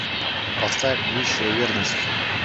поставь высшая верность